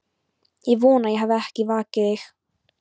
Ég vona ég hafi ekki vakið þig.